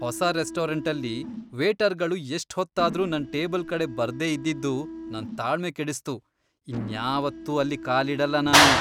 ಹೊಸ ರೆಸ್ಟೋರೆಂಟಲ್ಲಿ ವೇಟರ್ಗಳು ಎಷ್ಟ್ ಹೊತ್ತಾದ್ರು ನನ್ ಟೇಬಲ್ ಕಡೆ ಬರ್ದೇ ಇದ್ದಿದ್ದು ನನ್ ತಾಳ್ಮೆ ಕೆಡಿಸ್ತು. ಇನ್ಯಾವತ್ತೂ ಅಲ್ಲಿ ಕಾಲಿಡಲ್ಲ ನಾನು.